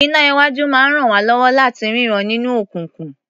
Iná-iwájú máa ń ràn wá lọ́wọ́ láti rínran nínú òkùnkùn.